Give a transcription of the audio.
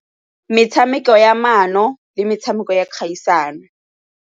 Metshameko ya maano le metsameko ya kgaisano.